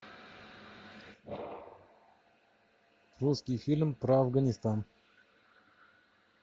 русский фильм про афганистан